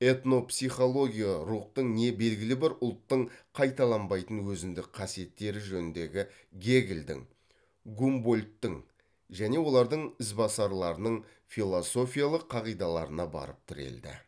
этнопсихология рухтың не белгілі бір ұлттың қайталанбайтын өзіндік қасиеттері жөніндегі гегельдің гумбольдтың және олардың ізбасарларының философиялық қағидаларына барып тірелді